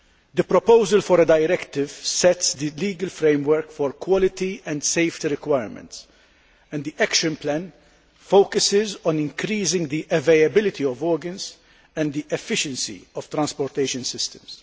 The proposal for a directive sets the legal framework for quality and safety requirements, and the action plan focuses on increasing the availability of organs, and the efficiency of transportation systems.